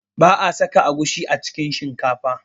Ba'a saka agushi a cikin shinkafa